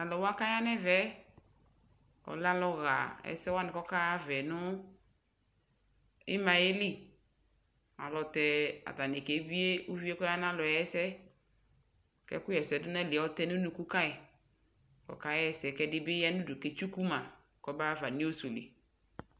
Talʋwa kaya nɛmɛɛ ɔlɛ aluɣa ɛsɛwani kɔkaɣava nu imayɛli ayɛlutɛ atanii kebie uvie kɔyanalɔɛ ɛsɛ Ɛkuɣɛsɛdu ayɔtɛdu nunu kayi kɛdibi kaɣɛsɛ kɛdibiya nudu ketsukuma kɔmaɣafa nu news li